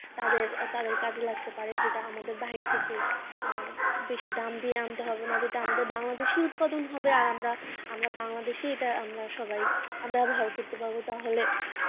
তাদের তাদের কাজে লাগতে পারে এটা আমাদের বাইরে থেকে আহ বেশি দাম দিয়ে আনতে হবে না যেটা আমাদের বাংলাদেশে উৎপাদন হবে আমরা আমরা বাংলাদেশে এটা আমরা সবাই ব্যবহার করতে পারবো তাহলে ।